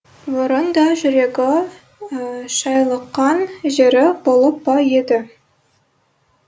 бұрын да жүрегі шайлыққан жері болып па еді